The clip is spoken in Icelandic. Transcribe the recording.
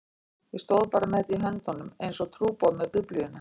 Ég stóð bara með þetta í höndunum einsog trúboði með Biblíuna.